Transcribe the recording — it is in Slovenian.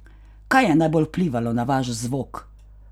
Kaj je najbolj vplivalo na vaš zvok?